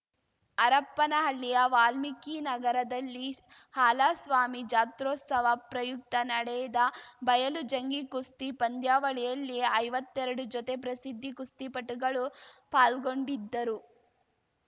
ಹರಪನಹಳ್ಳಿಯ ವಾಲ್ಮೀಕಿ ನಗರದಲ್ಲಿ ಹಾಲಸ್ವಾಮಿ ಜಾತ್ರೋತ್ಸವ ಪ್ರಯುಕ್ತ ನಡೆದ ಬಯಲು ಜಂಗಿ ಕುಸ್ತಿ ಪಂದ್ಯಾವಳಿಯಲ್ಲಿ ಐವತ್ತೆರಡು ಜೊತೆ ಪ್ರಸಿದ್ದಿ ಕುಸ್ತಿಪಟುಗಳು ಪಾಲ್ಗೊಂಡಿದ್ದರು